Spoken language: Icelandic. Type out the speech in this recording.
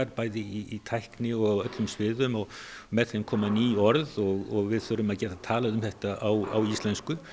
bæði í tækni og á öllum sviðum og með þeim koma ný orð og við þurfum að geta talað um þetta á íslensku